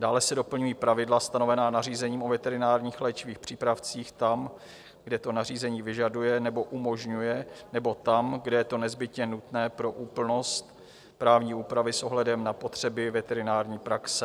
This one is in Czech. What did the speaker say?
Dále se doplňují pravidla stanovená nařízením o veterinárních léčivých přípravcích tam, kde to nařízení vyžaduje nebo umožňuje, nebo tam, kde je to nezbytně nutné pro úplnost právní úpravy s ohledem na potřeby veterinární praxe.